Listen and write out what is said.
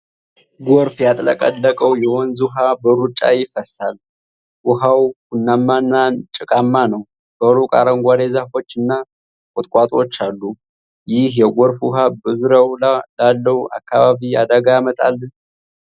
ጎርፍ ያጥለቀለቀው የወንዝ ውሃ በሩጫ ይፈሳል። ውሃው ቡናማና ጭቃማ ነው። በሩቅ አረንጓዴ ዛፎች እና ቁጥቋጦዎች አሉ። ይህ የጎርፍ ውሃ በዙሪያው ላለው አካባቢ አደጋ ያመጣል?